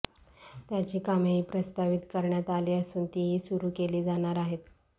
त्याची कामेही प्रस्तावित करण्यात आली असून तीही सुरू केली जाणार आहेत